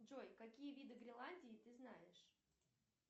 джой какие виды гренландии ты знаешь